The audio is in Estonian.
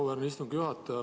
Auväärt istungi juhataja!